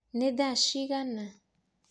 nĩ thaa cigana?